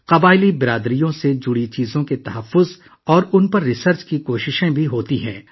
قبائلی برادریوں سے متعلق پہلوؤں کے تحفظ اور تحقیق کے لیے بھی کوششیں کی جا رہی ہیں